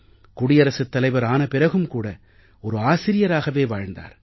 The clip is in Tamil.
குடியரசுத் தலைவர் ஆன பிறகும் கூட ஒரு ஆசிரியராகவே வாழ்ந்தார்